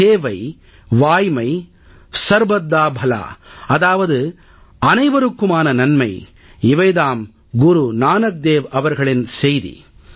சேவை வாய்மை சர்பத் தா பலா அதாவது அனைவருக்குமான நன்மை இவை தாம் குரு நானக் தேவ் அவர்களின் செய்தி